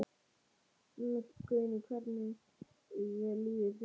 Guðný: Hvernig líður þér?